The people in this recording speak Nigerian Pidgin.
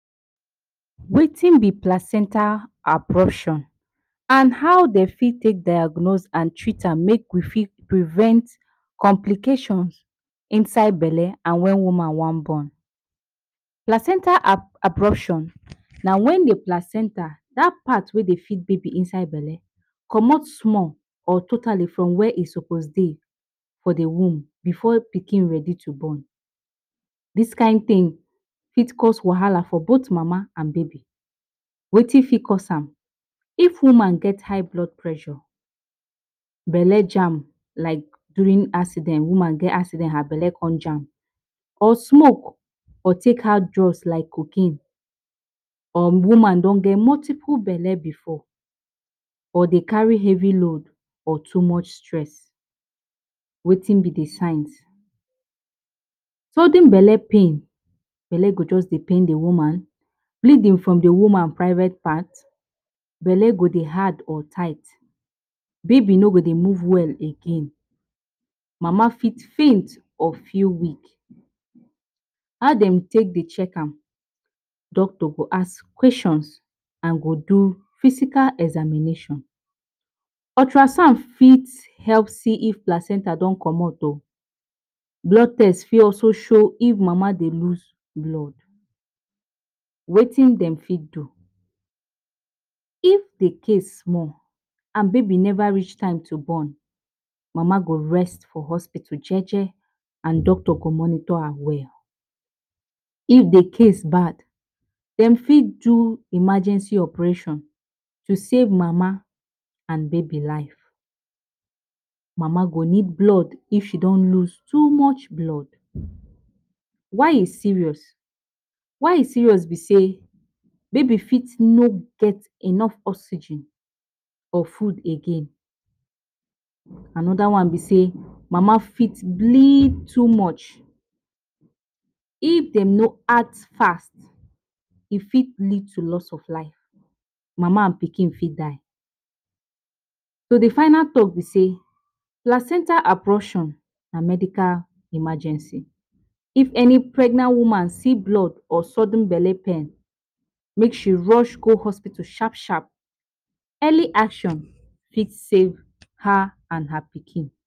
Wetin b placenta abruption and how dem fit diagnose and treat am to prevent complications inside d belle and when woman wan born. Placenta abruption, na wen d placenta, dat part wey d pikin Dey inside the belle, commot small or totally from where e suppose to be for d womb before e ready to born. Dis kind thing fit cause wahala for both mama and baby. Wetin fit cause am. If woman get high blood pressure, belle jam like during pregnancy, woman get accident her belle con jam, Or smoke or take hard drugs like cocaine, Or woman don get multiple belle before. Or dey carry heavy load or too much stress. Wetin b d signs. Sudden belle pain. Belle go jus dey pain d woman. Bleeding from d woman private part. Belle go Dey hard or tight. Baby no go Dey move well again. Mama fit faint or feel weak. Make Dem do check-up. Doctor go ask questions and go do physical examination. Ultrasound fit help see if placenta don commot. Blood test fit also show if mama dey lose blood. Wetin dem fit do, If d case small, and baby never reach to born, mama go rest for hospital and doctor go monitor her well. If d case bad, dem fit do emergency operation To save mama and baby life. Mama go need blood if she don lose too much blood. Why e serious? Why e serious be sey, baby fit no get enough oxygen or food again, Anoda one be say, mama fit bleed too much. If dem no act fast E fit lead to loss of life, Mama and Pikin fit die. D final talk be sey, placenta abruption na medical emergency. If any pregnant woman see blood or sudden belle pain, make sure rush go hospital sharp sharp. Early action fit save her and her Pikin.